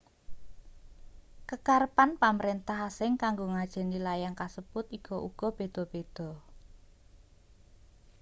kekarepan pamrentah asing kanggo ngajeni layang kasebut iku uga beda-beda